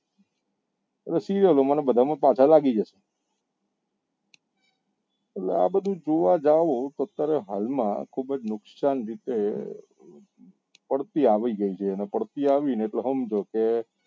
એ serial માં ને બધા માં પાછા લાગી જશે એટલે આ બધું જોવા જાવ તો અત્યારે હાલ માં ખુબ જ નુકસાન રીતે પડતી આવી જોઈએ ને પડતી ને તો હમજો કે